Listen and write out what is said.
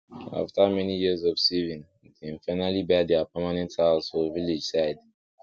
after many years of saving dem finally buy their permanent house for village side